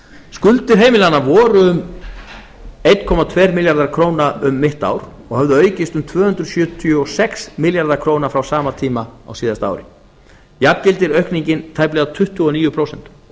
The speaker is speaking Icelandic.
skuldir heimilanna voru um einn tveir milljarðar króna um mitt ár og höfðu aukist um tvö hundruð sjötíu og sex milljarða króna frá sama tíma á síðasta ári jafngildir aukningin tæplega tuttugu og níu prósent